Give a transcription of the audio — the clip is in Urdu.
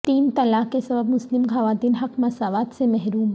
تین طلاق کے سبب مسلم خواتین حق مساوات سے محروم